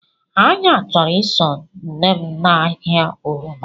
Anya choro iso nnem na ahia oroma.